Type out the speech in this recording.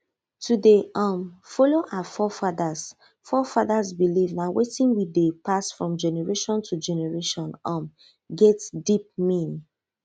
to dey um follow our forefathers forefathers belief na wetin wey dey pass from generation to generation um get deep mean